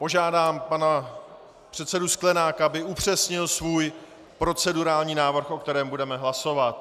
Požádám pana předsedu Sklenáka, aby upřesnil svůj procedurální návrh, o kterém budeme hlasovat.